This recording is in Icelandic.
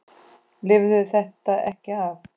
Lifirðu þetta ekki af?